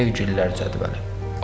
Sevgililər cədvəli.